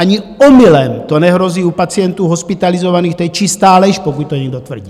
Ani omylem to nehrozí u pacientů hospitalizovaných, to je čistá lež, pokud to někdo tvrdí.